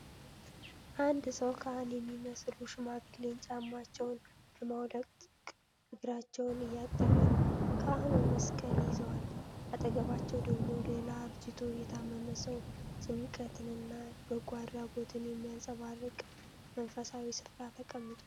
አንድ ሰው ካህን የሚመስሉ ሽማግሌን ጫማቸውን በማውለቅ እግራቸውን እያጠበ ነው። ካህኑ መስቀል ይዘዋል፤ አጠገባቸው ደግሞ ሌላ አርጅቶ የታመመ ሰው ጭንቀትንና በጎ አድራጎትን በሚያንጸባርቅ መንፈሳዊ ስፍራ ተቀምጧል።